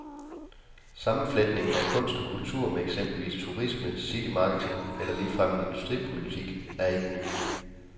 Sammenfletningen af kunst og kultur med eksempelvis turisme, citymarketing eller ligefrem en industripolitik, er ikke ny.